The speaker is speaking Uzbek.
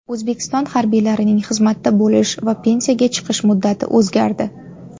O‘zbekiston harbiylarining xizmatda bo‘lish va pensiyaga chiqish muddati o‘zgardi.